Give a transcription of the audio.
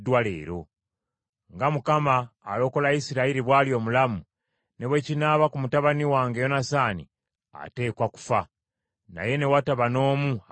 Nga Mukama alokola Isirayiri bw’ali omulamu, ne bwe kinaaba ku mutabani wange Yonasaani, ateekwa kufa.” Naye ne wataba n’omu amwanukula.